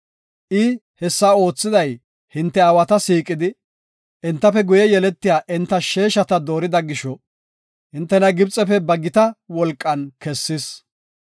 I hessa oothiday hinte aawata siiqidi, entafe guye yeletiya enta sheeshata doorida gisho, hintena Gibxefe ba gita wolqan kessis.